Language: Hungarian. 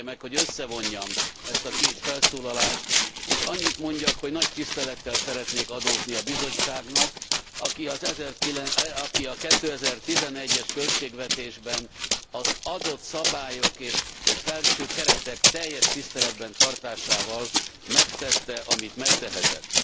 Engedje meg, hogy összevonjam ezt a két felszólalást, és annyit mondjak, hogy nagy tisztelettel szeretnék adózni a Bizottságnak, aki a 2011 es költségvetésben adott szabályok és felső keretek teljes tiszteletben tartásával megtette, amit megtehetett.